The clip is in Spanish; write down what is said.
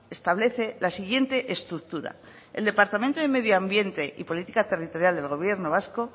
establece la siguiente estructura el departamento de medio ambiente y política territorial del país vasco